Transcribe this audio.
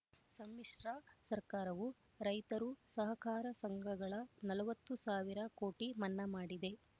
ಸಮ್ಮಿಶ್ರ ಸರ್ಕಾರವೂ ರೈತರು ಸಹಕಾರ ಸಂಘಗಳ ನಲವತ್ತು ಸಾವಿರ ಕೋಟಿ ಮನ್ನಾ ಮಾಡಿದೆ